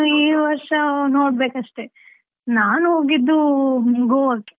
ಇನ್ನು ಈ ವರ್ಷ ನೋಡ್ಬೇಕಷ್ಟೆ, ನಾನ್ ಹೋಗಿದ್ದು ಗೋವಾಗ್.